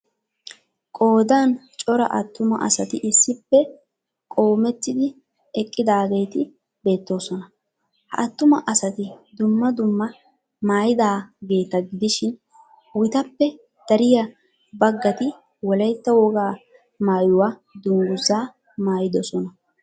Qoodan cora attuma asati issippe qoomettidi eqqidaageeti beettoosona. Ha attuma asati dumma dumma maayidaageeta gidishin wtappe dariya baggati Wolaytta wogaa maayuwa dungguzzaa maayidosona.